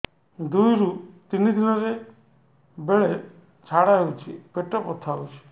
ଦୁଇରୁ ତିନି ଦିନରେ ବେଳେ ଝାଡ଼ା ହେଉଛି ପେଟ ବଥା ହେଉଛି